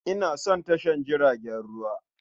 Ina son tashar jiragen ruwa.